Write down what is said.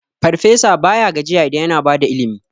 Farfesa baya gajiya idan yana bada ilimi.